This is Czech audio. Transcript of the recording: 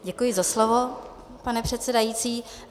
Děkuji za slovo, pane předsedající.